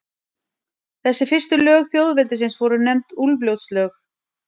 Þessi fyrstu lög þjóðveldisins voru nefnd Úlfljótslög.